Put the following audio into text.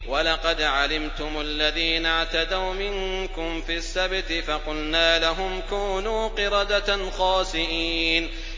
وَلَقَدْ عَلِمْتُمُ الَّذِينَ اعْتَدَوْا مِنكُمْ فِي السَّبْتِ فَقُلْنَا لَهُمْ كُونُوا قِرَدَةً خَاسِئِينَ